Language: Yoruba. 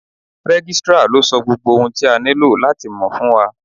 Registrar ló sọ gbogbo ohun tí a nílò láti mọ̀ fún wa.